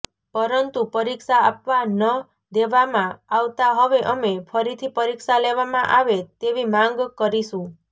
પરંતુ પરીક્ષા આપવા ન દેવામાં આવતાં હવે અમે ફરીથી પરીક્ષા લેવામાં આવે તેવી માંગ કરીશું